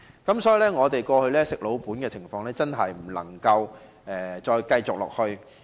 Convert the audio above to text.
因此，本港旅遊業"吃老本"的情況真的不能繼續下去。